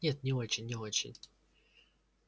нет не очень не очень